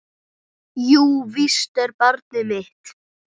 Jú, víst er barnið mitt.